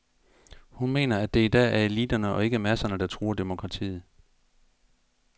Hun mener, at det i dag er eliterne og ikke masserne, der truer demokratiet.